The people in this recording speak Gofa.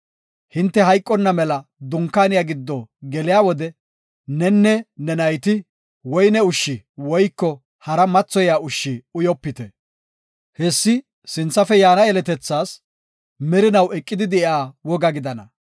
Hinte hayqonna mela Dunkaaniya gido geliya wode nenne ne nayti woyne ushshi woyko hara mathoyiya ushshi uyopite; hessi sinthafe yaana yeletethaas merinaw eqidi de7iya woga gidana.